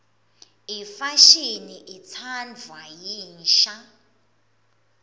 imfashini itsandvwa yinsha